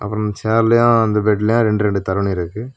அப்புறம் சேர்லையும் அந்த பெட்லயும் ரெண்டு ரெண்டு தருண இருக்கு.